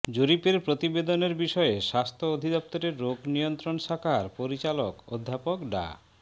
জরিপের প্রতিবেদনের বিষয়ে স্বাস্থ্য অধিদফতরের রোগ নিয়ন্ত্রণ শাখার পরিচালক অধ্যাপক ডা